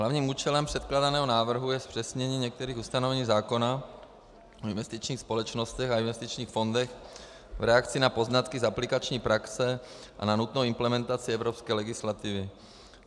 Hlavním účelem předkládaného návrhu je zpřesnění některých ustanovení zákona o investičních společnostech a investičních fondech v reakci na poznatky z aplikační praxe a na nutnou implementaci evropské legislativy.